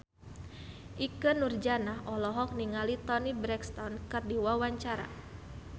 Ikke Nurjanah olohok ningali Toni Brexton keur diwawancara